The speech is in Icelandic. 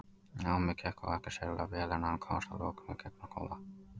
Námið gekk þó ekki sérlega vel en hann komst að lokum í gegnum skóla.